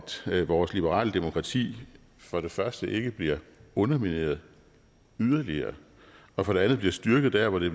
vores liberale demokrati for det første ikke bliver undermineret yderligere og for det andet bliver styrket der hvor det